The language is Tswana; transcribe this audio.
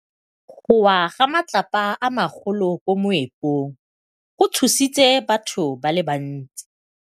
Go wa ga matlapa a magolo ko moepong go tshositse batho ba le bantsi.